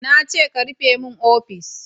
Na ce ka rufe min ofis!